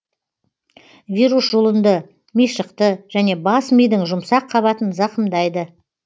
вирус жұлынды мишықты және бас мидың жұмсақ қабатын зақымдайды